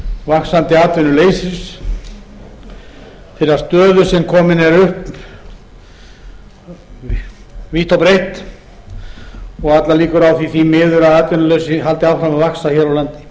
vaxandi atvinnuleysis þeirrar stöðu sem komin er upp vítt og breitt og allar líkur á því miður að atvinnuleysi haldi áfram að vaxa hér á landi